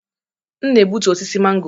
M na-egbutu osisi mango.